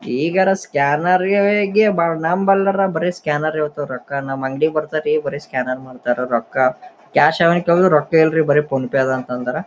ಈಗ ಅರ ಸ್ಕ್ಯಾನ್ನರ್ಗೆ ಬಹಳ ನಂಬಲ್ಲರ ಬರೇ ಸ್ಕ್ಯಾನರ್ ಇರತ್ತೆ ರೊಕ್ಕ ನಮ್ ಅಂಗಡಿಗೆ ಬರ್ತಾರಾ ಬರೇ ಸ್ಕ್ಯಾನರ್ ಮಾಡ್ತಾರಾ ರೊಕ್ಕ ಕ್ಯಾಶ್ ಎದ ಕೇಳಿದ್ರೆ ರೊಕ್ಕ ಇಲ್ರಿ ಬರೇ ಫೋನ್ ಪೆ ಅದ ಅಂತರ.